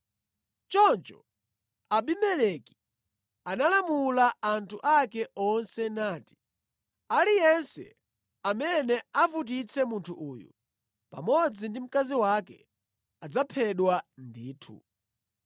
Choncho Abimeleki analamula anthu ake onse nati, “Aliyense amene avutitse munthu uyu pamodzi ndi mkazi wake adzaphedwa ndithu.”